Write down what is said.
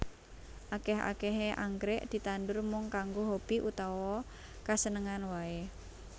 Akèh akèhé anggrèk ditandur mung kanggo hobi utawa kasenengan waé